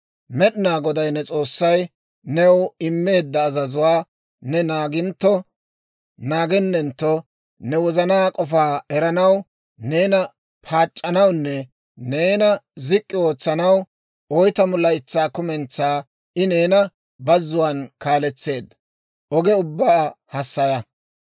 Med'inaa Goday ne S'oossay new immeedda azazuwaa ne naagintto naagennentto, ne wozanaa k'ofaa eranaw, neena paac'c'anawunne neena zik'k'i ootsanaw, oytamu laytsaa kumentsaa I neena bazzuwaan kaaletseedda oge ubbaa hassaya.